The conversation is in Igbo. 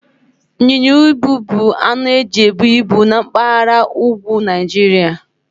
Ịnyịnya ibu bụ anụ eji ebu ibu na mpaghara úgwú Naijiria.